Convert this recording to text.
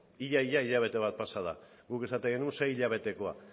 ia ia hilabete bat pasa da guk esaten genuen sei hilabetekoa